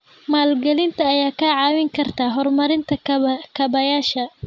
Maalgelinta ayaa kaa caawin karta horumarinta kaabayaasha.